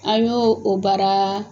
A ɲ'o o baara